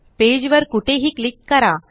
page वर कुठेही click करा